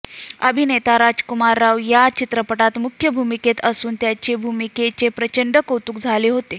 अभिनेता राजकुमार राव या चित्रपटात मुख्य भूमिकेत असून त्याच्या भूमिकेचे प्रचंड कौतुक झालं होतं